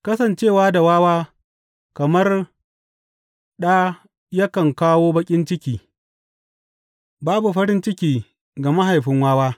Kasance da wawa kamar ɗa yakan kawo baƙin ciki babu farin ciki ga mahaifin wawa.